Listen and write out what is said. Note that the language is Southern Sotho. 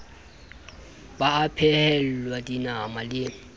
ba a phehelwa dinama le